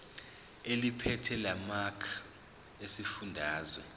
eliphethe lamarcl esifundazwe